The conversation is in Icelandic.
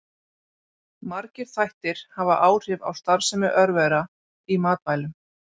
Margir þættir hafa áhrif á starfsemi örvera í matvælum.